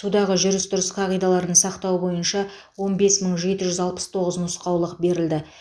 судағы жүріс тұрыс қағидаларын сақтау бойынша он бес мың жеті жүз алпыс тоғыз нұсқаулық берілді